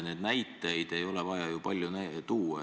Näiteid ei ole vaja palju tuua.